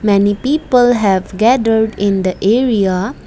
many people have gathered in the area.